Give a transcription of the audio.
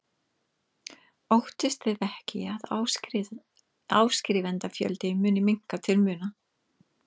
Óttist þið ekki að áskrifendafjöldi muni minnka til muna?